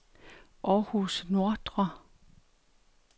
Århus Nordre